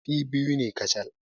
Kifi biyu ne kacal.